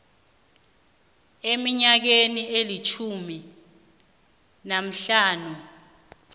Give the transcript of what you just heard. eminyakeni elitjhumi nahlanu